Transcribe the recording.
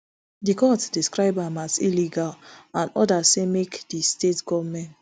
di court describe am as illegal and order say make di state goment